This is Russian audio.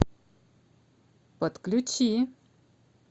подключи